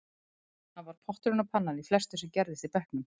Hann var potturinn og pannan í flestu sem gerðist í bekknum, segir